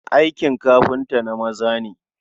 Aikin kafinta na maza ne.